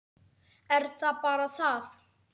Er það bara það?